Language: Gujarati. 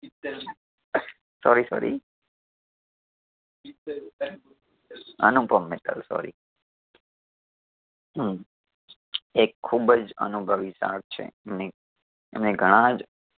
sorry sorry Anupam Mittal sorry હું એ ખુબજ અનુભવી છે ને એમણે ઘણા જ